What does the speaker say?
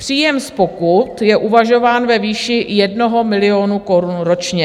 Příjem z pokut je uvažován ve výši 1 milionu korun ročně.